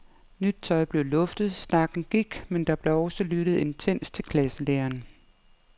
Nyt tøj blev luftet, snakken gik, men der blev også lyttet intenst til klasselæreren.